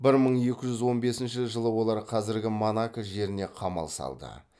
бір мың екі жүз он бесінші жылы олар қазіргі монако жеріне қамал салды